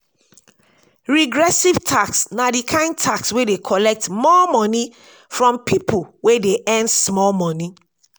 regressive tax na di kind tax wey dey collect more money from pipo wey dey earn small money